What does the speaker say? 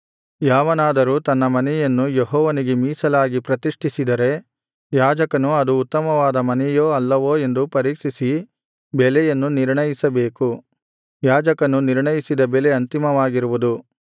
ಯಾವನಾದರೂ ತನ್ನ ಮನೆಯನ್ನು ಯೆಹೋವನಿಗೆ ಮೀಸಲಾಗಿ ಪ್ರತಿಷ್ಠಿಸಿದರೆ ಯಾಜಕನು ಅದು ಉತ್ತಮವಾದ ಮನೆಯೋ ಅಲ್ಲವೋ ಎಂದು ಪರೀಕ್ಷಿಸಿ ಬೆಲೆಯನ್ನು ನಿರ್ಣಯಿಸಬೇಕು ಯಾಜಕನು ನಿರ್ಣಯಿಸಿದ ಬೆಲೆ ಅಂತಿಮವಾಗಿರುವುದು